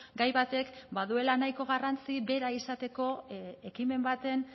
gai batek baduela nahiko garrantzi bera izateko ekimen baten